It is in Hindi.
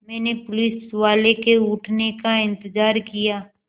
मैंने पुलिसवाले के उठने का इन्तज़ार किया